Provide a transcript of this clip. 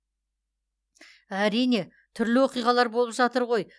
әрине түрлі оқиғалар болып жатыр ғой